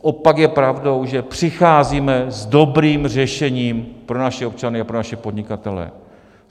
Opak je pravdou, že přicházíme s dobrým řešením pro naše občany a pro naše podnikatele.